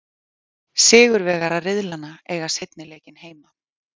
Sigurvegarar riðlanna eiga seinni leikinn heima.